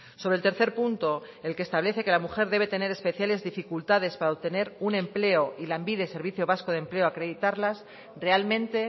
sobre el tercer punto el que establece que la mujer debe tener especiales dificultades para obtener un empleo y lanbide servicio vasco de empleo acreditarlas realmente